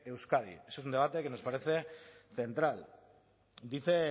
euskadi es un debate que nos parece central dice